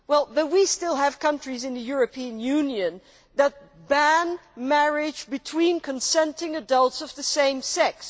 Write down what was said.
But we still have countries in the European Union that ban marriage between consenting adults of the same sex.